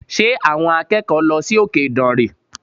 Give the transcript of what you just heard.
Ṣé àwọn akẹ́kọ̀ọ́ lọ sí òkè ìdànrè?